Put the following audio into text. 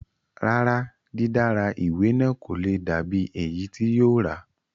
Rárá, dídára ìwé náà kò le dà bíi èyí tí yóò rà